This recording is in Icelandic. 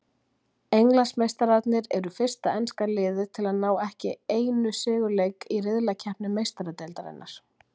Englandsmeistararnir eru fyrsta enska liðið til að ná ekki einu sigurleik í riðlakeppni Meistaradeildarinnar.